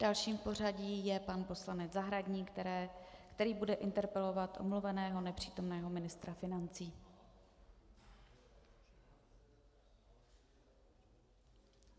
Dalším v pořadí je pan poslanec Zahradník, který bude interpelovat omluveného nepřítomného ministra financí.